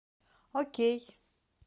окей